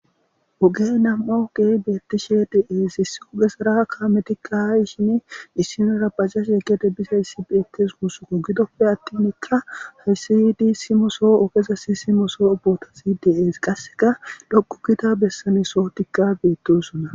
Oge nama'w kei' betishe des huphphesora kametika issinora bajaje gede bizaysi bes gusakko gidoppe atin aysa gidoppe atin ogezas somosoy des qaseka dhoqu giza sohoy bes